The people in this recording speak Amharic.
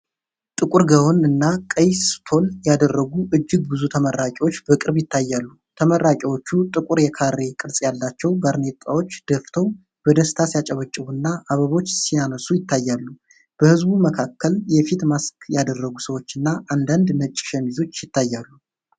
ጥቁር ጋውን እና ቀይ ስቶል ያደረጉ እጅግ ብዙ ተመራቂዎች በቅርብ ይታያሉ። ተመራቂዎቹ ጥቁር የካሬ ቅርጽ ያላቸው ባርኔጣዎች ደፍተው በደስታ ሲያጨበጭቡ እና አበቦች ሲያነሱ ይታያሉ። በህዝቡ መካከል የፊት ማስክ ያደረጉ ሰዎች እና አንዳንድ ነጭ ሸሚዞች ይታያሉ።